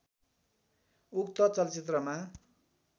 उक्त चलचित्रमा